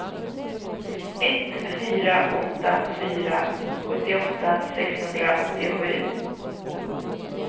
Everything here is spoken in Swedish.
ett fyra åtta fyra sjuttioåtta sexhundraåttiosju